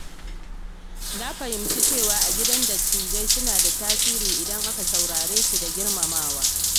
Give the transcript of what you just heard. Na fahimci cewa a gida dattijai suna da tasiri idan aka saurare su da girmamawa.